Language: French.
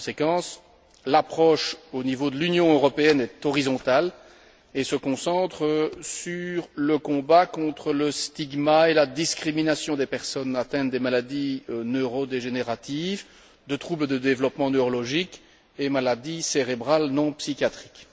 Par conséquent, l'approche au niveau de l'Union européenne est horizontale et se concentre sur le combat contre la stigmatisation et la discrimination des personnes atteintes de maladies neurodégénératives, de troubles de développement neurologique et de maladies cérébrales non psychiatriques.